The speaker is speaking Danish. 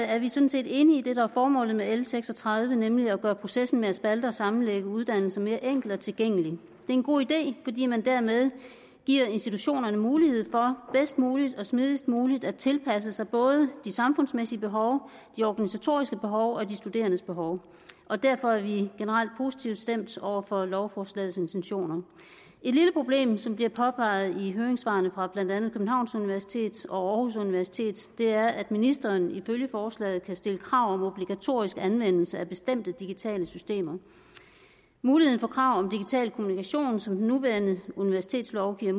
er vi sådan set enige i det der er formålet med l seks og tredive nemlig at gøre processen med at spalte og sammenlægge uddannelser mere enkel og tilgængelig det er en god idé fordi man dermed giver institutionerne mulighed for bedst muligt og smidigst muligt at tilpasse sig både de samfundsmæssige behov de organisatoriske behov og de studerendes behov og derfor er vi generelt positivt stemt over for lovforslagets intentioner et lille problem som bliver påpeget i høringssvarene fra blandt andet københavns universitet og aarhus universitet er at ministeren ifølge forslaget kan stille krav om obligatorisk anvendelse af bestemte digitale systemer muligheden for krav om digital kommunikation som den nuværende universitetslov giver